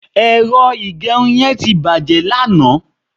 ẹrọ igberin yen ti bàjé lanaa